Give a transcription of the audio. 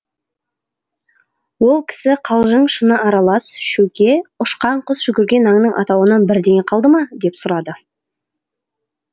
ол кісі қалжың шыны аралас шөке ұшқан құс жүгірген аңның атауынан бірдеңе қалды ма деп сұрады